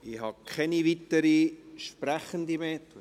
Ich habe keine weiteren Sprechenden mehr.